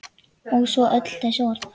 Og svo öll þessi orð.